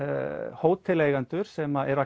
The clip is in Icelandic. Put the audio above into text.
hóteleigendur sem eru